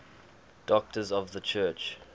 doctors of the church